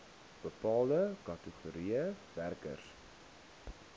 bepaalde kategorieë werkers